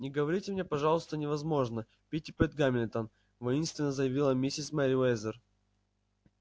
не говорите мне пожалуйста невозможно питтипэт гамильтон воинственно заявила миссис мерриуэзер